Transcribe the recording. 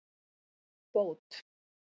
Bót